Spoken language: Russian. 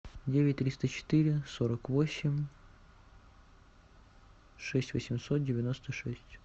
девять триста четыре сорок восемь шесть восемьсот девяносто шесть